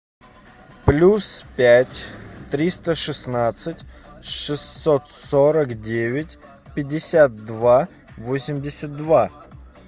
плюс пять триста шестнадцать шестьсот сорок девять пятьдесят два восемьдесят два